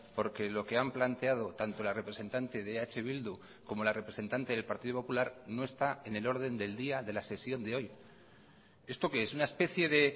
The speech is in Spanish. porque lo que han planteado tanto la representante de eh bildu como la representante del partido popular no está en el orden del día de la sesión de hoy esto qué es una especie de